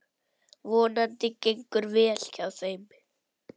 Vonandi gengur vel hjá þeim.